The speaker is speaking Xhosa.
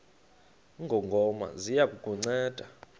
ngongoma ziya kukunceda